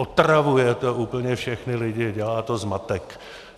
Otravuje to úplně všechny lidi, dělá to zmatek.